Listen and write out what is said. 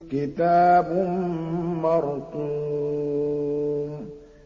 كِتَابٌ مَّرْقُومٌ